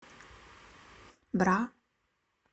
бра